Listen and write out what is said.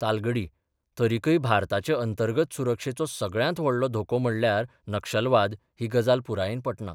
तालगडी तरिकय भारताचे अंतर्गत सुरक्षेचो सगळ्यांत व्हडलो धोको म्हणल्यार नक्षलवाद ही गजाल पुरायेन पटना.